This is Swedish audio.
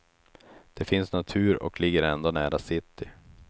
Det finns natur och ligger ändå nära city.